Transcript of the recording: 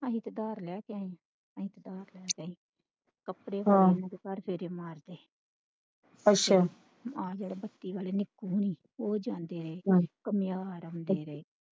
ਅਸੀਂ ਤੇ ਧਾਰ ਲਿਆ ਕਿ ਅੱਛਾ